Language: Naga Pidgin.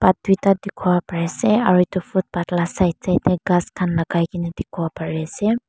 Path tuita dikipo pari asae aro etu footpath laga side side dae khas khan lagai kina dikipo pari asae.